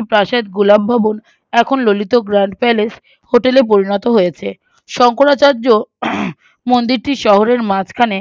মন্দিরটি শহরের মাঝখানে